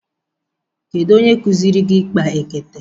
Kedu onye kuziri gi ikpa ekete?